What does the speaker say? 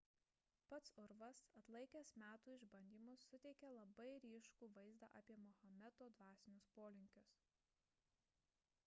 pats urvas atlaikęs metų išbandymus suteikia labai ryškų vaizdą apie mahometo dvasinius polinkius